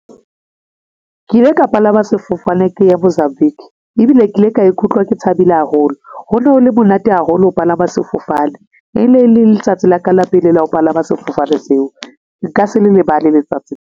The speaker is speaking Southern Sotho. Ke ile ka palama sefofane ke ya Mozambique, ebile ke ile ka ikutlwa ke thabile haholo. Ho ne ho le monate haholo ho palama sefofane e ne le letsatsi laka la pele la ho palama sefofane seo, nka se lebale letsatsi.